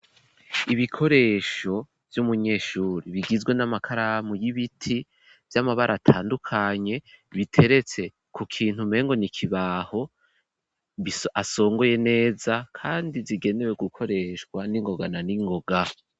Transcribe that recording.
Ibikoresho vy'umunyeshuri bigizwe n'amakaramu y'ibiti vy'amabara atandukanye biteretse ku kintu mpengonikibaho asongoye neza kandi zigenewe gukoreshwa n'ingoga na n'ingoga.